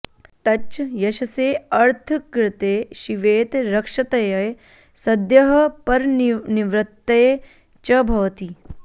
तच्च यशसेऽर्थकृते शिवेत रक्षतये सद्यः परनिवृत्तये च भवति